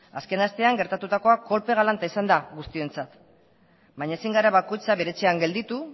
azken astean gertatutakoa kolpe galanta izan da guztiontzat baina ezin gara bakoitza bere etxean gelditu